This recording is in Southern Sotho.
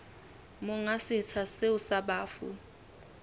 monga setsha seo sa bafu